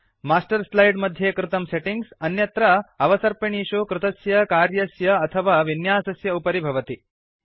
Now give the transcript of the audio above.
master slide मध्ये कृतं settings अन्यत्र अवसर्पिणीषु कृतस्य कार्यस्य अथवा विन्यासस्य उपरि भवति